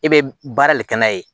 E bɛ baara de kɛ n'a ye